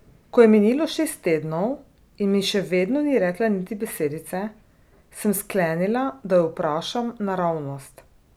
Ko je minilo šest tednov in mi še vedno ni rekla niti besedice, sem sklenila, da jo vprašam naravnost.